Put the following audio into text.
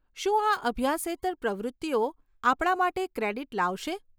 શું આ અભ્યાસેતર પ્રવૃત્તિઓ આપણા માટે ક્રેડીટ લાવશે?